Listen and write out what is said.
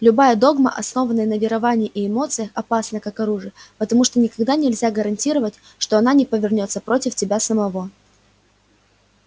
любая догма основанная на веровании и эмоциях опасна как оружие потому что никогда нельзя гарантировать что она не повернётся против тебя самого